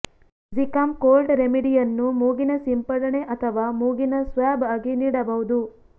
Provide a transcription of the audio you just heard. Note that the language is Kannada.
ಝಿಕಾಮ್ ಕೋಲ್ಡ್ ರೆಮಿಡೀ ಅನ್ನು ಮೂಗಿನ ಸಿಂಪಡಣೆ ಅಥವಾ ಮೂಗಿನ ಸ್ವಾಬ್ ಆಗಿ ನೀಡಬಹುದು